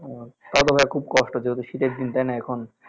ও তাহলেতো ভাইয়া খুব কষ্ট যেহেতু শীতের দিন তাইনা এখন